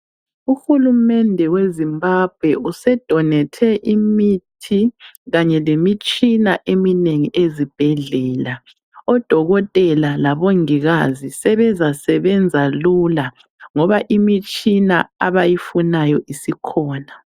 UHulumende weZimbabwe usedonethe imithi kanye lemitshina eminengi ezibhedlela. Odokotela labongikazi sebezasebenza lula ngoba imitshina abayifunayo isikhona.